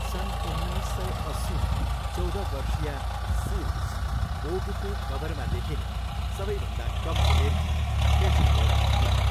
सन् उन्नाइस सय अस्सीमा, चौध वर्षीया सिल्ड्स वोगको कभरमा देखिने सबैभन्दा कम उमेरकी फेसन मोडल थिइन्।